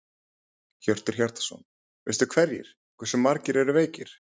Hjörtur Hjartarson: Veistu hverjir, hversu margir eru veikir?